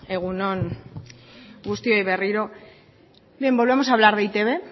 egun on guztioi berriro bien volvemos a hablar de e i te be